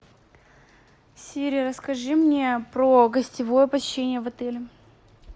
сири расскажи мне про гостевое посещение в отеле